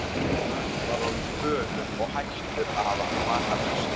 Hann var orðinn fölur og hættur að hafa matarlyst.